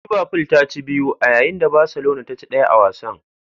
Liverful ta ci biyu a yayin da Barcelona ta ci daya a wasan.